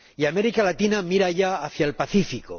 Y América Latina mira ya hacia el Pacífico.